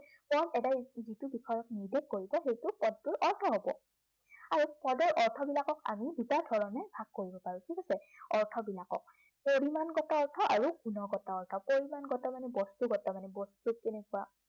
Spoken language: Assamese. যিটো বিষয়ক নিৰ্দেশ কৰিছে, সেইটো পদটোৰ অৰ্থ হব। আৰু পদৰ অৰ্থবিলাকক আমি দুটা ধৰণে ভাগ কৰিব পাৰো। ঠিক আছে, অৰ্থবিলাকক। পৰিমাণগত অৰ্থ আৰু গুণগত অৰ্থ। পৰিমাণগত মানে বস্তুগত মানে, বস্তু কেনেকুৱা